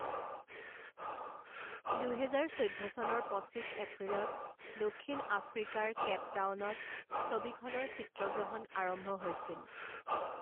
দুহেজাৰ চৈধ্য চনৰ পঁচিছ এপ্ৰিলত দক্ষিণ আফ্ৰিকাৰ কেপ টাউনত ছবিখনৰ চিত্ৰগ্ৰহণ আৰম্ভ হৈছিল।